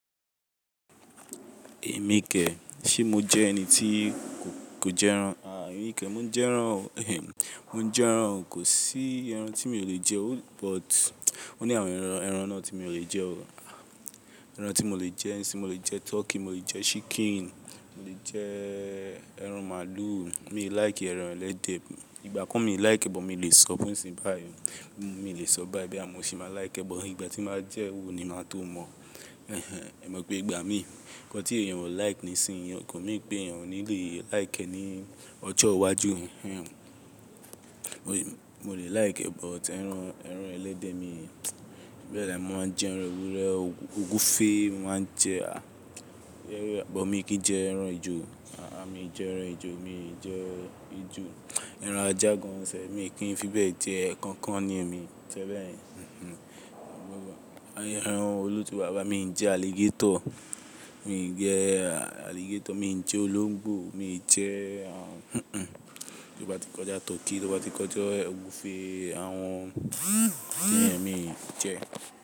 Èmi kẹ, ṣe mo jẹ́ ẹni tí kò jẹ ẹran? À, èmi kẹ, mo ń jẹ ẹran o. Ehen. Mo ń jẹ ẹran o. Kò sí ẹran tí mi ò lè jẹ o. But, ó ní àwọn ẹran, ẹran náà tí mi ò lè jẹ o. Ẹran tí mo lè jẹ nísinyìí, mo lè jẹ turkey, mo lè jẹ chicken, mo lè jẹ ẹran màálù. Mi ò like ẹran ẹlẹ́dẹ̀. Ìgbà kan mi ò like ẹ but, mi lè sọ nísin báyìí. Mi lè sọ báyìí, boya mọ́ ṣi máa like but Ìgbà tí máa jẹ wo ni máa tó mọ. Ehen. Ẹ̀ mọ̀ pé ìgbà mí, nnkan tí èèyàn ò like nísinyìí, kò mean pé èèyàn ò ní lè like ní ọjọ́ iwájú. Ehen. Mo lè like bọ̀ tí ẹran, ẹran ẹlẹ́dẹ̀ mi bẹ́ẹ̀, mo ma n jẹ ẹran ewúrẹ́, ògúfe mo máa ń jẹ à, but mi kì í jẹ ẹran ejò. À-a, mi ò jẹ ẹran ejò, mi ò jẹ ejò. Ẹran ajá gan self mi kìí fi bẹ jẹ, kànkàn ni èmi jẹ bẹ́ẹ̀. Ehen. Àwọn ẹran olóòtú bàbá, mi ò jẹ alligator, mi ò jẹ alligator, mi ò jẹ olóńgbò, mi ò jẹ, à, ti wọ́n bá ti kọjá turkey, ti wọ́n bá ti kọjá ògúfe, àwọn tí èmi ò jẹ.